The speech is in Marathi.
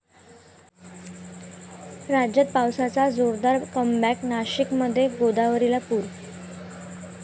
राज्यात पावसाचं जोरदार 'कमबॅक', नाशिकमध्ये गोदावरीला पूर!